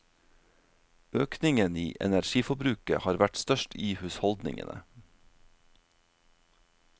Økningen i energiforbruket har vært størst i husholdningene.